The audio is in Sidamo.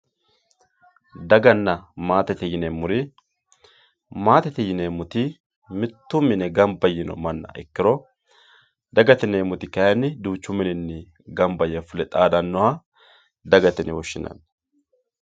daganna maatete yineemmori maatete yineemmoti mitto mine gamba yiino manna ikkiro dagate yineemmoti kayinni duuchu mininni fule gamba yee xaadannoha dagate yine woshshinanni